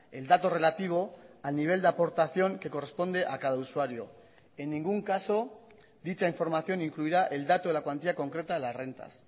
el dato relativo al nivel de aportación que corresponde a cada usuario en ningún caso dicha información incluirá el dato de la cuantía concreta de las rentas